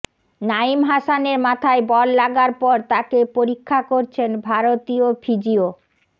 নাইম হাসানের মাথায় বল লাগার পর তাকে পরীক্ষা করছেন ভারতীয় ফিজিও